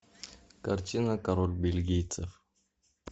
картина король бельгийцев